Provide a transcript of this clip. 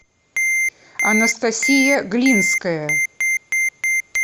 анастасия глинская